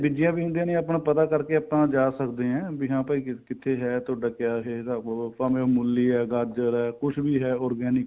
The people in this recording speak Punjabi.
ਬੀਜੀਆਂ ਵੀ ਹੁੰਦੀਆਂ ਨੇ ਆਪਣਾ ਪਤਾ ਕਰ ਕੇ ਆਪਾਂ ਜਾ ਸਕਦੇ ਆ ਬੀ ਹਾਂ ਭਾਈ ਕਿੱਥੇ ਏ ਤੁਹਾਡਾ ਕਿਆ ਇਹ ਸਭ ਉਹ ਭਾਵੇ ਉਹ ਮੂਲੀ ਏ ਗਾਜਰ ਏ ਕੁੱਝ ਵੀ ਹੈ organic